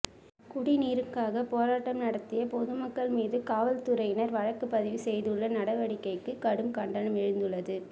குடிநீருக்காக போராட்டம் நடத்திய பொதுமக்கள் மீது காவல்துறையினர் வழக்கு பதிவு செய்துள்ள நடவடிக்கைக்கு கடும் கண்டனம் எழுந்துள்ளது